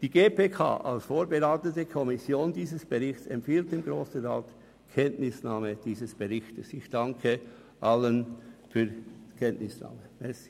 Die GPK als vorberatende Kommission dieses Berichts empfiehlt dem Grossen Rat dessen Kenntnisnahme.